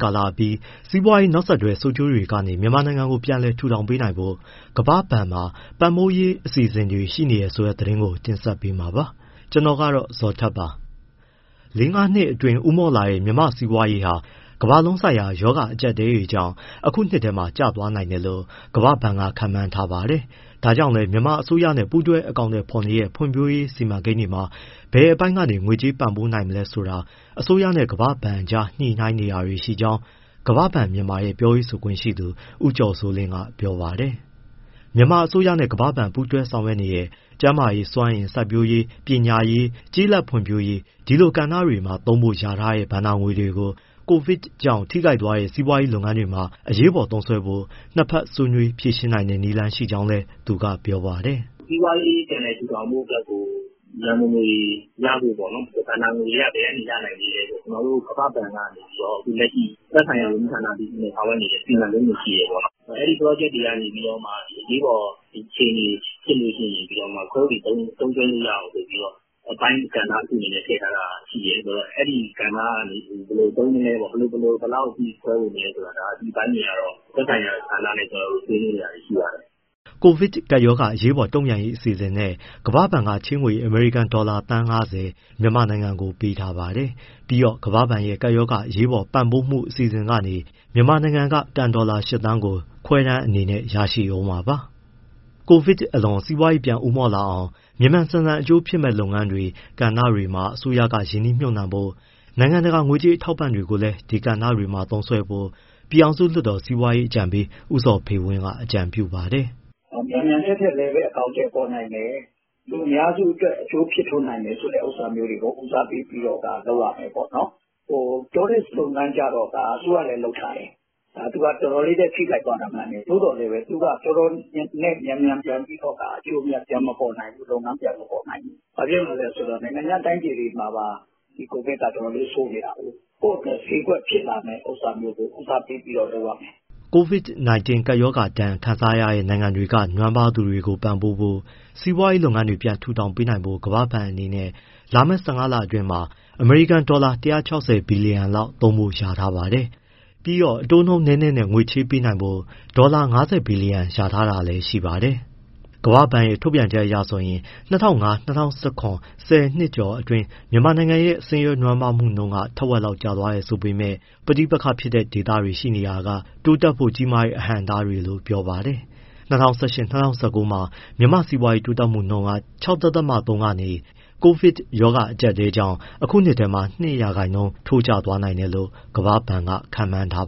ကာလအပြီး စီးပွားရေး နောက်ဆက်တွဲ ဆိုးကျိုးတွေကနေ မြန်မာနိုင်ငံကို ပြန်ပြီး ထူထောင်ပေးနိုင်ဖို့ ကမ္ဘာ့ဘဏ်မှာ ပံ့ပိုးရေး အစီအစဉ်တွေ ရှိနေတယ်ဆိုတဲ့ သတင်းကို တင်ဆက်ပေးမှာပါ။ ဒီအကြောင်းဗွီအိုအေမြန်မာပိုင်း သတင်းထောက် ကိုဇော်ထက်က ပြောပြပေးပါမယ်။ လေး၊ ငါးနှစ်အတွင်း ဦးမော့လာခဲ့တဲ့ မြန်မာ့စီးပွားရေးဟာ ကမ္ဘာလုံးဆိုင်ရာ ရောဂါအကြပ်အတည်းကြောင့် အခုနှစ်ထဲမှာ ကျသွားနိုင်တယ်လို့ ကမ္ဘာ့ဘဏ်က ခန့်မှန်းထားပါတယ်။ ဒါကြောင့်လည်း မြန်မာအစိုးရနဲ့ ပူးတွဲအကောင်အထည်ဖော်နေတဲ့ ဖွံ့ဖြိုးရေးစီမံကိန်းတွေမှာ ဘယ်အပိုင်းက ငွေကြေးပံ့ပိုးပေးနိုင်မလဲ ဆိုတာ အစိုးရနဲ့ ကမ္ဘာ့ဘဏ်ကြား ညှိနှိုင်းတာတွေရှိကြောင်း ကမ္ဘာ့ဘဏ်မြန်မာရဲ့ ပြောဆိုခွင့်ရှိသူ ဦးကျော်စိုးလင်းက ပြောပါတယ်။ မြန်မာအစိုးရနဲ့ ကမ္ဘာ့ဘဏ် ပူးတွဲဆောင်ရွက်နေတဲ့ ကျန်းမာရေး၊ စွမ်းအင်၊ စိုက်ပျိုးရေး၊ ပညာရေး၊ ကျေးလက်ဖွံ့ဖြိုးရေး ဒီလိုကဏ္ဍတွေမှာသုံးဖို့ လျာထားတဲ့ ဘဏ္ဍာငွေတွေကို COVID ကြောင့် ထိခိုက်သွားတဲ့ စီးပွားရေးလုပ်ငန်းတွေမှာ အရေးပေါ် သုံးစွဲဖို့ နှစ်ဘက်ဆွေးနွေး ဖြေရှင်းနိုင်တဲ့ နည်းလမ်းရှိကြောင်း သူကပြောပါတယ်။ “စီးပွားရေး ပြန်လည်ထူထောင်ဖို့အတွက်ကို ရန်ပုံငွေရဖို့ပေါ့နော်။ ဘဏ္ဍာငွေတွေက ဘယ်ကနေ ရနိုင်သေးလဲဆိုတော့ ကမ္ဘာ့ဘဏ်ကနေ သက်ဆိုင်ရာ ဝန်ကြီးဌာနအသီးသီးနဲ့ ဆောင်ရွက်နေနဲ့ စီမံကိန်းတွေ ရှိတယ်ပေါ့၊ အဲဒီ ပရော့ဂျက်တွေကနေ အရေးပေါ်အခြေအနေဖြစ်ရင် ခွဲဝေသုံးစွဲလို့ရအောင်ဆိုပြီးတော့ အပိုင်းကဏ္ဍာတခုအနေနဲ့ ထည့်ထားတာရှိတယ်ဆိုတော့ အဲဒီကဏ္ဍကနေ ဘယ်လိုသုံးမလဲပေါ့၊ ဘယ်လောက်အထိ ခွဲဝေမလဲဆိုတာ ဒီအပိုင်းတွေကတော့ သက်ဆိုင်ရာဌာနနဲ့ ကျနော်တို့ ဆွေးနွေးနေတာရှိပါတယ်။” COVID ကပ်ရောဂါ အရေးပေါ်တုံ့ပြန်ရေး အစီအစဉ်နဲ့ ကမ္ဘာ့ဘဏ်က ချေးငွေ အမေရိကန်ဒေါ်လာ သန်း ၅၀ မြန်မာနိုင်ငံကို ပေးထားပါတယ်။ ပြီးတော့ ကမ္ဘာ့ဘဏ်ရဲ့ ကပ်ရောဂါ အရေးပေါ်ပံ့ပိုးမှု အစီအစဉ်ကနေ မြန်မာနိုင်ငံက ကန်ဒေါ်လာ ၈ သန်းကို ခွဲတမ်းအနေနဲ့ ရရှိဦးမှာပါ။ COVID အလွန်မှာ စီးပွားရေးပြန်ဦးမော့လာအောင် မြန်မြန်ဆန်ဆန် အကျိုးဖြစ်မယ့် လုပ်ငန်းတွေ၊ ကဏ္ဍတွေမှာ အစိုးရက ရင်းနှီးမြှုပ်နှံဖို့၊ နိုင်ငံတကာ ငွေကြေးအထောက်ပံ့တွေကိုလည်း ဒီကဏ္ဍတွေမှာ သုံးစွဲဖို့ ပြည်ထောင်စုလွှတ်တော် စီးပွားရေးအကြံပေး ဦးဇော်ဖေဝင်း က အကြံပြုပါတယ်။ “မြန်မြန်ထပ်ထပ်လည်း အကောင်အထည် ဖော်နိုင်မယ်၊ လူအများစု အကျိုးဖြစ်ထွန်းနိုင်မယ်ဆိုတဲ့ ဥစ္စာမျိုးတွေကို ဦးစားပေးပြီးတော့ လုပ်ရမယ်ပေါ့။ Tourist လုပ်ငန်းကျ အစိုးရလည်းလုပ်ထားတယ်။ သူက အတော်လေး ထိခိုက်သွားတာ မှန်တယ်။ သို့သော် သူက မြန်မြန်အကျိုးအမြတ် ပြန်မပေါ်နိုင်ဘူး။ ဘာဖြစ်လို့ဆို နိုင်ငံခြား တိုင်းပြည်တွေမှာပါ ဒီ COVID ကအတော်လေး ဆိုးနေတာကိုး။ ကိုယ့်အတွက် ဈေးကွက်ဖြစ်လာမယ့် ဥစ္စာမျိုးကို ဦးစားပေးပြီးတော့ လုပ်ရမယ်။” COVID-19 ကပ်ရောဂါဒဏ် ခံခဲ့ရတဲ့ နိုင်ငံတွေက နွမ်းပါးသူတွေကိုပံ့ပိုးဖို့၊ စီးပွားရေးလုပ်ငန်းတွေ ပြန်ထူထောင်ပေးဖို့ ကမ္ဘာဘဏ်အနေနဲ့ လာမယ့် ၁၅ လအတွင်းမှာ အမေရိကန်ဒေါ်လာ ၁၆၀ ဘီလီယံလောက်သုံးဖို့ လျာထားပါတယ်။ ပြီးတော့ အတိုးနှုန်းနည်းနည်းနဲ့ ချေးငွေပေးဖို့ ဒေါ်လာ ၅၀ ဘီလီယံ လျာထားတာလည်း ရှိပါတယ်။ ကမ္ဘာ့ဘဏ်ရဲ့ ထုတ်ပြန်ချက်အရဆိုရင် ၂၀၀၅ - ၂၀၁၇ ဆယ်နှစ်ကျော်အတွင်း မြန်မာနိုင်ငံရဲ့ ဆင်းရဲနွမ်းပါးမှုနှုန်းက ထက်ဝက်လောက်ကျသွားတယ်လို့ ဆိုပေမဲ့ ပဋိပက္ခဖြစ်တဲ့ဒေသတွေရှိနေတာက တိုးတက်ဖို့ ကြီးမားတဲ့ အဟန့်အတားလို့ ပြောပါတယ်။ ၂၀၁၈- ၂၀၁၉ မှာ မြန်မာ့စီးပွားရေးတိုးတက်နှုန်းက ၆.၃ ကနေ COVID ရောဂါအကြပ်အတည်းကြောင့် အခုနှစ်ထဲ ၂ ရာခိုင်နှုန်း ထိုးကျသွားနိုင်တယ်လို့ ကမ္ဘာ့ဘဏ်က ခန့်မှန်းထား